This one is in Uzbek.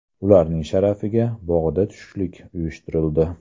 Ularning sharafiga bog‘da tushlik uyushtirildi.